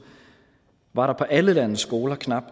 var der på alle landets skoler knap